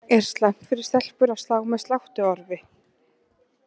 Er slæmt fyrir stelpur að slá með sláttuorfi?